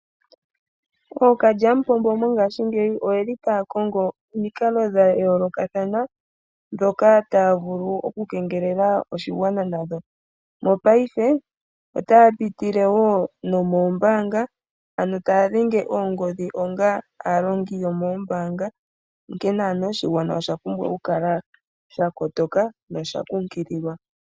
Ookalyamupombo mongashingeyi otaya kongo omikalo dha yoolokathana ndhoka taya vulu okukengelela oshigwana nadho. Mopaife otaya pitile wo nomoombaanga, ano taya dhenge oongodhi onga aalongi yomoombaanga, onkene oshigwana osha pumbwa okukala sha kotoka nosha kunkililwa.